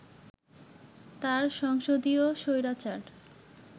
তার সংসদীয় স্বৈরাচার